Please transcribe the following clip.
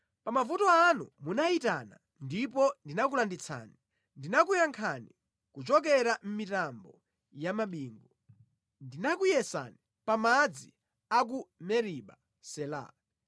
Pa mavuto anu munayitana ndipo ndinakulanditsani, ndinakuyankhani kuchokera mʼmitambo ya mabingu; ndinakuyesani pa madzi a ku Meriba. Sela